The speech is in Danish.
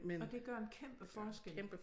Og det gør en kæmpe forskel